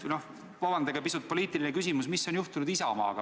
Vabandage, mul on pisut poliitiline küsimus: mis on juhtunud Isamaaga?